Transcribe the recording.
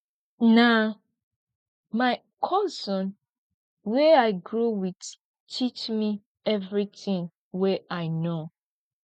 na my cousin wey i grow wit teach me everytin wey i know